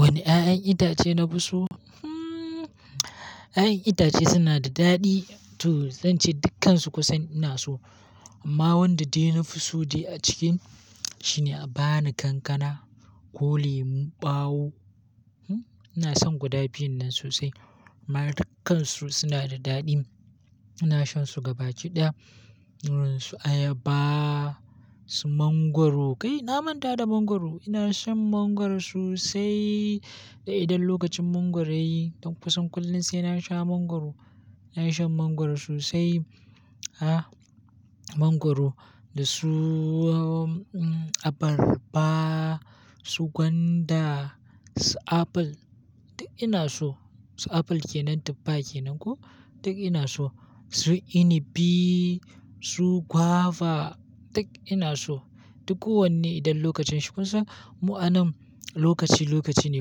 Wane ƴaƴan itace na fi so? Hmmm. Ƴaƴan itace suna da daɗi to zan ce dukkansu kusan ina so. Amma wanda dai na fi so dai a cikin shi ne, abani, kankana ko lemun ɓawo. Hmm, ina son guda biyun nan sosai. Amma dukkan su suna da daɗi. Ina shan su gaba ki ɗaya. Su ayaba, su mangwaro kai na manta da mangwaro. Ina shan mangwaro sosai. Idan lokacin mangwaro ya yi, toh kusan kullum sai na sha mangwaro. Ina shan mangwaro sosai. Ha! Mangwaro, da su abarba, su gwanda, su apple duk ina so. Su apple ke nan, tuffa ke nan ko? Duk ina so. Su inibi, su guava duk ina so. Duk kowanne idan lokacin shi. Kun san mu anan lokaci lokaci ne.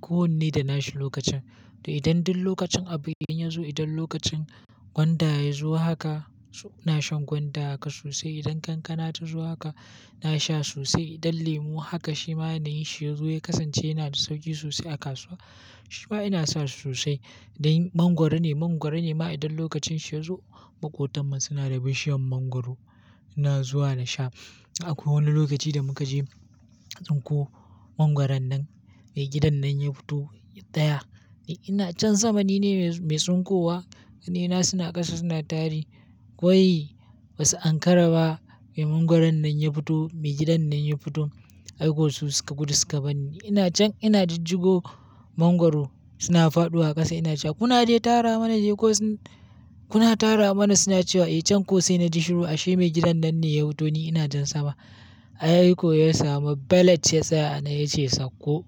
Kowanne da na shi lokacin. To idan duk lokacin abu idan ya zo, idan lokacin gwanda ya zo haka, suna shan gwanda haka sosai. Idan kankana ta zo haka, ina sha sosai. Idan lemu haka shi ma yana yin shi ya zo ya kasance yana da sauki sosai a kasuwa. Shi ma ina san shi sosai. Da mangwaro ne, mangwaro ne ma idan lokacin shi ya zo, maƙotan nan suna da bishiyar mangwaro. Ina zuwa na sha. Akwai wani lokaci da muka je tsinko mangwaron nan mai gidan nan ya fito daya. Ni ina can sama ni ne mai tsinkowa, ƙanaina suna ƙasa suna tari. Kwai ba su Ankara ba. Mai mangwaron nan ya fito, mai gidan nan ya fito, aiko su suka gudu suka bani. Ina can ina jijjigo mangwaro suna faɗowa ƙasa ina cewa. Kuna dai tara mana, dai ko suna tara mana suna cewa, "Eh can ko sai na ji shuru ashe mai gidan nan ne ya fito ni ina can sama." Ai ko ya samu balet ya tsaya a nan ya ce sakko.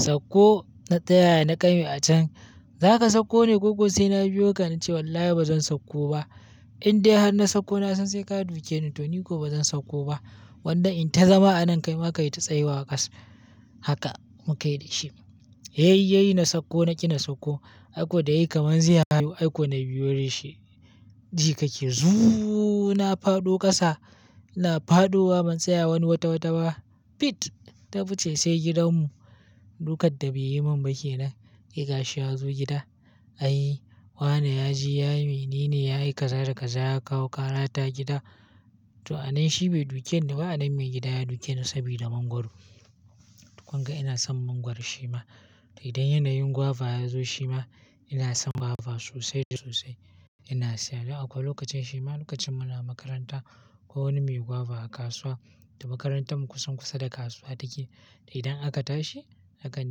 Sakko na tsaya na ƙame a can. "Za ka sakko ne ko ko?" Sai na biyo ka na ce wallahi ba zan sakko ba. Indai har na sakko na san sai ka duke ni to ni ko ba zan sakko ba. Gwanda in ta zama a nan kai ma ka yi ta tsayuwa a ƙasa. Haka muka yi da shi. Ya yi ya yi na sakko, na ƙi na sakko. Ai ko da ya yi kamar zai hau ai ko na biyo da shi. Ji kake zuuuu na fado ƙasa, na fado wa ban tsaya wani watawata ba. Fit! Na fice sai gidanmu. Dukan da bai yi min ba ke nan. Sai gashi ya zo gida. Ai wane ya je ya yi, menene ya yi kaza da kaza ya kawo ƙara ta gida. To a nan shi bai duke ni ba a nan mai gida ya duke ni saboda mangwaro. Kun ga ina son mangwaro shi ma. Idan yanayin guava ya zo shi ma ina son guava sosai da sosai. Ina siya. Dan akwai lokacin shi ma lokacin muna makaranta akwai wani mai guava a kasuwa. To makarantar mu kusan kusa da kasuwa take. Da idan aka tashi akan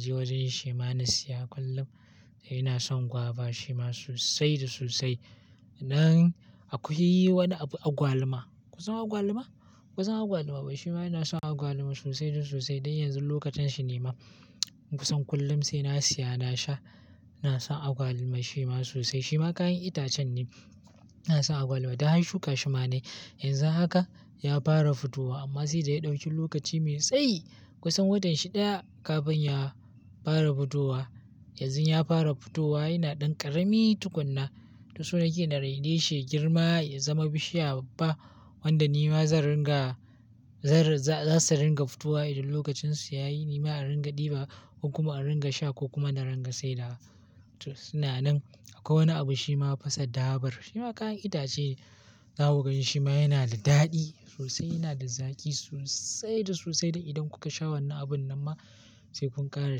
je wajen shi ma na siya kullum. Ina son guava shi ma sosai da sosai. Nan akwai wani abu agwaluma. Kun san agwaluma? Kun san agwaluma ba? Shi ma ina son agwaluma sosai da sosai. Dan yanzun lokacin shi ne ma. Kusan kullum sai na siya na sha. Ina son agwaluma shi ma sosai. Shi ma kayan itacen ne. Ina son agwaluma. Dan har shuka shi ma na yi. Yanzu haka ya fara futuwa amma sai da ya ɗauki lokaci mai tsayi. Kusan watan shi ɗaya kafin ya fara futowa. Yanzu ya fara futowa yana ɗan ƙarami tukuna. To so nake na raine shi ya girma ya zama bishiya babba. Wanda ni ma zan ringa, za su ringa futowa idan lokacin su ya yi. Ni ma in ringa ɗiba ko kuma in ringa sha ko kuma na ringa sayarwa. To suna nan. Akwai wani abu shi ma fasa dabar. Shi ma kayan itace. Zaku gan shi shi ma yana da daɗi sosai, yana da zaki sosai da sosai. Da idan kuka sha wani abun nan ma sai kun ƙara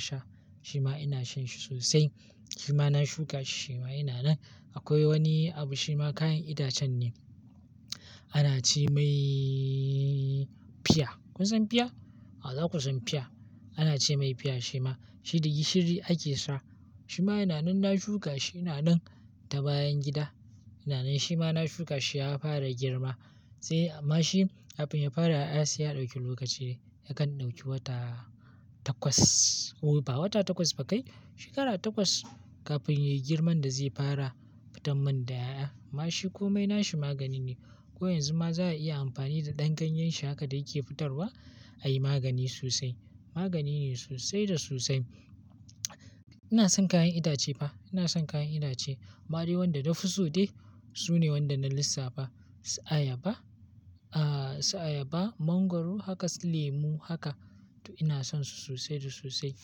sha. Shi ma ina shan shi sosai. Shi ma na shuka shi, shi ma yana nan. Akwai wani abu shi ma kayan itacen ne. Ana ce mai fiya. Kun san fiya? A za ku san fiya. Ana ce mai fiya shi ma. Shi da gishiri ake sa. Shi ma yana nan na shuka shi yana nan ta bayan gida. Yana nan shi ma na shuka shi ya fara girma. Sai amma shi abin ya fara a siya ɗauki lokaci. Yakan ɗauki wata takwas ko ba wata takwas ba kai shekara takwas kafin yayi girman da zai fara fitan man da ƴaƴa. Amma shi ko mai na shi magani ne. Ko yanzu ma za a iya amfani da ɗan ganyen shi haka da yake fitarwa a yi magani sosai. Magani ne sosai da sosai. Ina son kayan itace ba. Ina son kayan itace. Amma dai wanda na fi so dai su ne wanda na lissafa. Su ayaba, a su ayaba, mangwaro haka, lemu haka to ina son su sosai da sosai.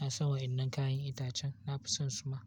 Ina son wa'innan kayan itacen. Na fi son su ma.